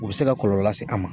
U bɛ se ka kɔlɔlɔ lase an ma.